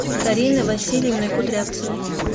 кариной васильевной кудрявцевой